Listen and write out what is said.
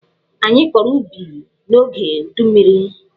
Anyị kọrọ ubi n'oge udummiri.